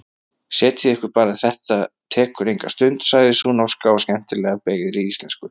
Setjið ykkur bara, þetta tekur engin stund, sagði sú norska á skemmtilega beygðri íslensku.